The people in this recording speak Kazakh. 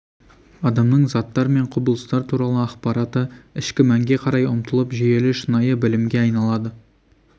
адамның заттар мен құбылыстар туралы ақпараты ішкі мәнге қарай ұмтылып жүйелі шынайы білімге айналады